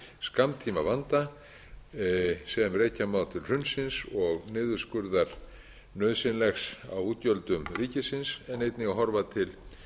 skammtímavanda sem rekja má til hrunsins og nauðsynlegs niðurskurðar á útgjöldum ríkisins en einnig að horfa til